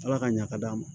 Ala ka ɲa ka d'an ma